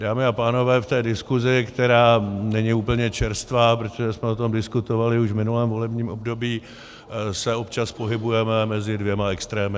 Dámy a pánové, v té diskusi, která není úplně čerstvá, protože jsme o tom diskutovali už v minulém volebním období, se občas pohybujeme mezi dvěma extrémy.